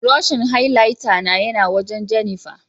buroshin highlighter na ya na wajen Jennifer